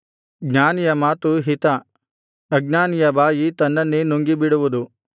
ಜ್ಞಾನಿಯ ಮಾತು ಹಿತ ಅಜ್ಞಾನಿಯ ಬಾಯಿ ತನ್ನನ್ನೇ ನುಂಗಿಬಿಡುವುದು